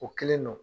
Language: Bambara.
O kelen don